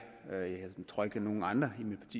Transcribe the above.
tror ikke der er nogen andre i mit